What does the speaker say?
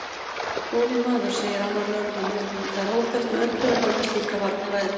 Góði maður, segir annar lögreglumaðurinn, það er óþarft með öllu að halda slíka varnarræðu.